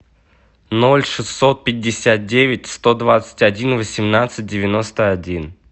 ноль шестьсот пятьдесят девять сто двадцать один восемнадцать девяносто один